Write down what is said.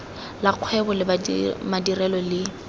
la kgwebo le madirelo le